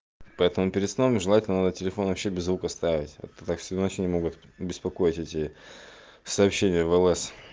поэтому перед сном желательно телефон вообще без звука ставить а то так всю ночь не могут беспокоить эти сообщение влс